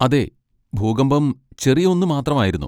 അതെ, ഭൂകമ്പം ചെറിയ ഒന്ന് മാത്രമായിരുന്നു.